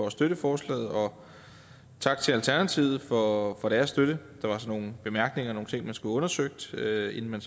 at støtte forslaget og tak til alternativet for for deres støtte der var så nogle bemærkninger nogle ting man skulle have undersøgt inden man